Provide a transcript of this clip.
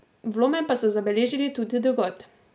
Vlome pa so zabeležili tudi drugod.